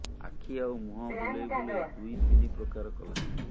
ଆଖି ଆଉ ମୁହଁ ବୁଲେଇ ବୁଲେଇ ଦୁଇ ତିନି ପ୍ରକାର କଲା